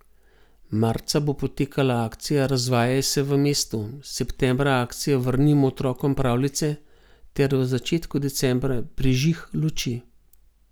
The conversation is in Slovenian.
Marca bo potekala akcija Razvajaj se v mestu, septembra akcija Vrnimo otrokom pravljice ter v začetku decembra Prižig luči.